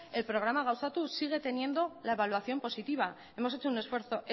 el programa gauzatu sigue teniendo la evaluación positiva hemos hecho un esfuerzo